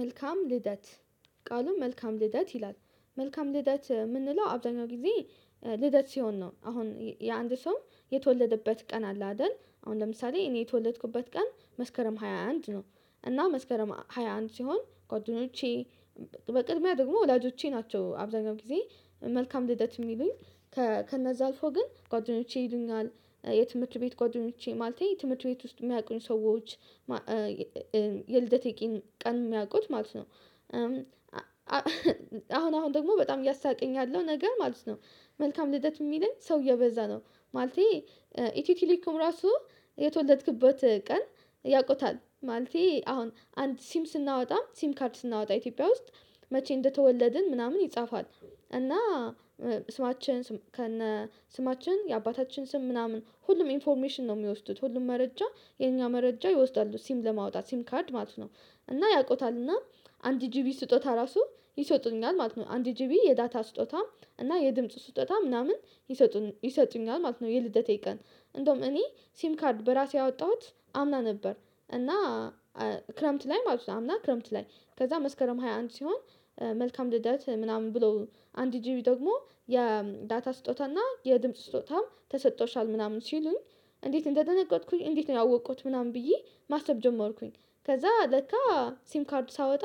መልካም ልደት ቃሉን መልካም ልደት ይላል መልካም ልደት የምንለው አብዛኛው ጊዜ ልደት ሲሆን ነው አሁን የአንድ ሰው የተወለደበት ቀን አለ አይደል? አሁን ለምሳሌ እኔ የተወለድኩበት ቀን መስከረም ሃያ አንድ ነው። እና መስከረም ሃያ አንድ ሲሆን ጎደኞቼ በቅድሚያ ደግሞ ወላጆቼ ናቸው አብዛኛው ጊዜ መልካም ልደት የሚሉኝ። ከነዛ አልፎ ግን ጓደኞቼ ይሉኛል የትምህርት ቤት ጓደኞቼ ማለቴ የትምህርት ቤት ውስጥ የሚያውቁን ሰዎች። የልደቴ ቀን የሚያውቁት ማለት ነው። አሁን አሁን ደግሞ በጣም እያሳቀኝ ያለው ነገር ማለት ነው። መልካም ልደት የሚለኝ ሰውዬ እየበዛ ነው። ማለቴ ኢትዮቴሌኮም ራሱ የተወለድክበት ቀን ያውቁታል ማለቴ አሁን አንድ ሲም ስናወጣ ሲም ካርድ ስናወጣ ኢትዮጵያ ውስጥ መቼ እንደተወለድን ምናምን ይጻፋል እና። ስማችን ከነ ስማችን የአባታችን ስም ምናምን ሁሉም ኢንፎርሜሽን ነው የሚወስዱት ሁሉም መረጃ የኛ መረጃ ይወስዳሉ ሲም ለማውጣት ሲም ካርድ ማለት ነው። እና ያውቁታል እና አንድ ጂቢ ስጦታ ራሱ ይሰጡኛል ማለት ነው አንድ ጂቢ የዳታ ስጦታ እና የድምጽ ስጦታ ምናምን ይሰጡኛል ማለት ነው። የልደቴ ቀን እንደውም እኔ ሲም ካርድ በራሴ ያወጣሁት አምና ነበር እና። ክረምት ላይ ማለት ነው አምና ክረምት ላይ ከዛ መስከረም ሃያ አንድ ሲሆን መልካም ልደት ምናምን ብሎ አንድ ጂቢ ደግሞ የዳታ ስጦታ እና የድምጽ ስጦታም ተሰጥቶሻል ምናምን ሲሉኝ። እንዴት እንደደነቀቅኩኝ እንዴት ነው ያወቅኩት ምናምን ብዬ ማሰብ ጀመርኩኝ። ከዛ ለካ ሲም ካርድ ሳወጣ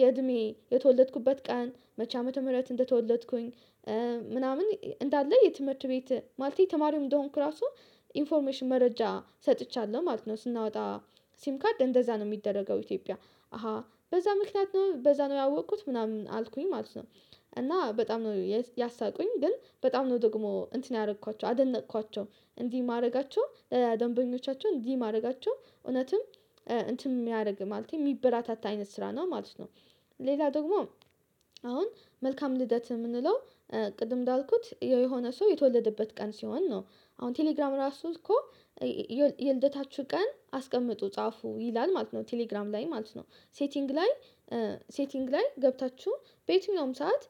የእድሜ የተወለድኩበት ቀን መቼ ዓመተ ምህረት እንደተወለድኩኝ። ምናምን እንዳለ የትምህርት ቤት ማለት ተማሪው እንደሆንኩ ራሱ ኢንፎርሜሽን መረጃ ሰጥቻለሁ ማለት ነው። ስናወጣ ሲም ካድ እንደዛ ነው የሚደረገው ኢትዮጵያ። አሃ በዛ ምክንያት ነው በዛ ነው ያወቅኩት ምናምን አልኩኝ ማለት ነው። እና በጣም ነው ያሳቁኝ ግን በጣም ነው ደግሞ እንትን ያደረኳቸው አደነቅኳቸው እንዲህ ማድረጋቸው። ደንበኞቻቸው እንዲህ ማድረጋቸው እውነትም እንትን የሚያደርግ ማለቴ የሚበራታታ አይነት ስራ ነው ማለት ነው። ሌላ ደግሞ አሁን መልካም ልደት የምንለው ቅድም እንዳልኩት የሆነ ሰው የተወለደበት ቀን ሲሆን ነው። አሁን ቴሌግራም ራሱ እኮ የልደታችሁ ቀን አስቀምጡ ጻፉ ይላል ማለት ነው። ቴሌግራም ላይ ማለት ነው ሴቲንግ ላይ ሴቲንግ ላይ ገብታችሁ በየትኛውም ሰዓት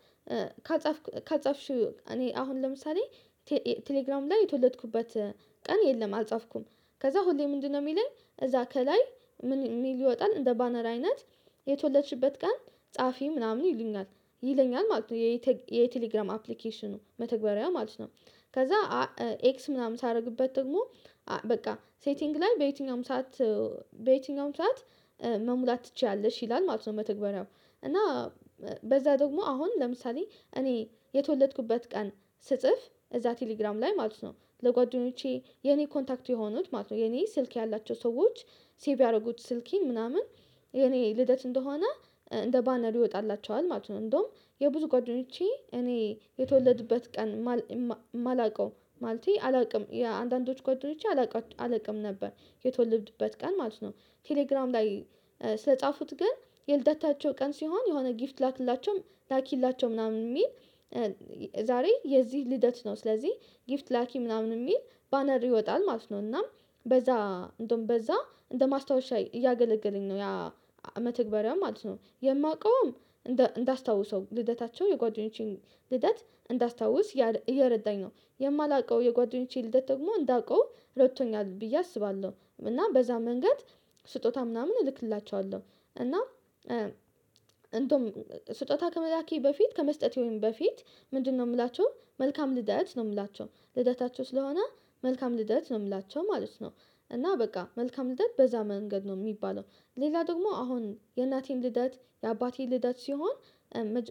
ካጻፍኩ ካጻፍሽው እኔ አሁን ለምሳሌ ቴሌግራም ላይ የተወለድኩበት ቀን የለም አልጻፍኩም። ከዛ ሁሌ ምንድነው የሚለን እዛ ከላይ ምን ሊወጣን እንደ ባነር አይነት የተወለደችበት ቀን ጸሐፊ ምናምን ይሉኛል። ይለኛል ማለት ነው የቴሌግራም አፕሊኬሽኑ መተግበሪያው ማለት ነው። ከዛ ኤክስ ምናምን ሳደርግበት ደግሞ በቃ ሴቲንግ ላይ በየትኛውም ሰዓት በየትኛውም ሰዓት መሙላት ትችያለሽ ይላል ማለት ነው። መተግበሪያው እና በዛ ደግሞ አሁን ለምሳሌ እኔ የተወለድኩበት ቀን ስጽፍ እዛ ቴሌግራም ላይ ማለት ነው ለጓደኞቼ የኔ ኮንታክት የሆኑት ማለት ነው የኔ ስልክ ያላቸው ሰዎች ሴቭ ያደረጉት ስልኬን ምናምን የኔ ልደት እንደሆነ እንደ ባነር ይወጣላቸዋል ማለት ነው እንደውም የብዙ ጓደኞቼ እኔ የተወለድኩበት ቀን። ማላውቀው ማለቴ አላውቅም የአንዳንዶቹ ጓደኞቼ አላውቅም አላውቅም ነበር የተወለድበት ቀን ማለት ነው። ቴሌግራም ላይ ስለጻፉት ግን የልደታቸው ቀን ሲሆን የሆነ ጊፍት ላክላቸውም ላኪላቸው ምናምን የሚል። ዛሬ የዚህ ልደት ነው ስለዚህ ጊፍት ላኪ ምናምን የሚል ባነር ይወጣል ማለት ነው። እና በዛ እንደውም በዛ እንደ ማስታወሻ እያገለገለኝ ነው ያ መተግበሪያ ማለት ነው። የማውቀውም እንዳስታውሰው ልደታቸው የጓደኞችን ልደት እንዳስታውስ እየረዳኝ ነው የማላውቀው የጓደኞቼ ልደት ደግሞ እንዳውቀው ረድቶኛል ብዬ አስባለሁ እና በዛ መንገድ ስጦታ ምናምን እልክላችኋለሁ። እና ስጦታ ከመላኬ በፊት ከመስጠቴ ወይም በፊት ምንድነው? የምላቸው መልካም ልደት ነው የምላቸው ልደታቸው ስለሆነ መልካም ልደት ነው የምላቸው ማለት ነው። እና በቃ መልካም ልደት በዛ መንገድ ነው የሚባለው። ሌላ ደግሞ አሁን የእናቴን ልደት የአባቴን ልደት ሲሆን።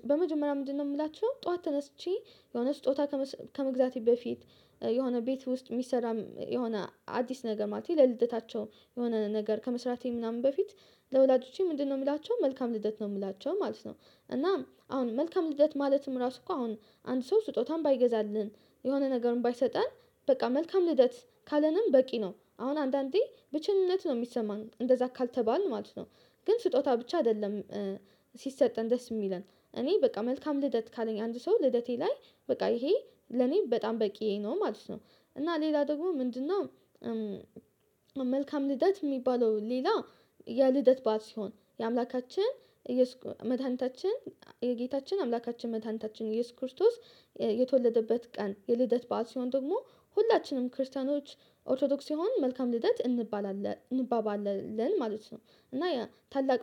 በመጀመሪያ ምንድነው የምላቸው ጠዋት ተነስቼ የሆነ ስጦታ ከመግዛቴ በፊት የሆነ ቤት ውስጥ የሚሰራ የሆነ አዲስ ነገር ማለት ነው ለልደታቸው የሆነ ነገር ከመስራቴ ምናምን በፊት ለወላጆቼ ምንድነው የምላቸው መልካም ልደት ነው የምላቸው ማለት ነው። እና አሁን መልካም ልደት ማለትም ራሱ እኮ አሁን አንድ ሰው ስጦታም ባይገዛልን የሆነ ነገርም ባይሰጠን በቃ መልካም ልደት ካለንም በቂ ነው አሁን አንዳንዴ ብቸኝነት ነው የሚሰማን እንደዛ ካልተባልን ማለት ነው። ግን ስጦታ ብቻ አይደለም። ሲሰጠን ደስ የሚለን እኔ በቃ መልካም ልደት ካለኝ አንድ ሰው ልደቴ ላይ በቃ ይሄ ለኔ በጣም በቂ ነው ማለት ነው። እና ሌላ ደግሞ ምንድነው? መልካም ልደት የሚባለው ሌላ የልደት በዓል ሲሆን የአምላካችን የመድኃኒታችን የጌታችን አምላካችን መታንታችን ኢየሱስ ክርስቶስ የተወለደበት ቀን የልደት በዓል ሲሆን ደግሞ ሁላችንም ክርስቲያኖች ኦርቶዶክስ የሆኑ መልካም ልደት እንባባለለን ማለት ነው። እና ታላቅ